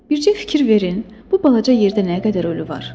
Bircə fikir verin, bu balaca yerdə nə qədər ölü var!